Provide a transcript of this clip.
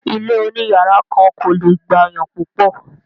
ilé òní yàrá kan kò le gbàyàn púpọ̀.